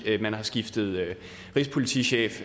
at man har skiftet rigspolitichef